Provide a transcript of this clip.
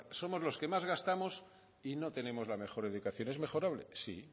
somos los que más gastamos y no tenemos la mejor educación es mejorable sí